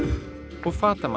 og